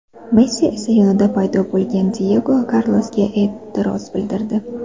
Messi esa yonida paydo bo‘lgan Diyego Karlosga e’tiroz bildirdi.